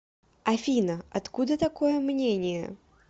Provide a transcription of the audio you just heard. афина откуда такое мнение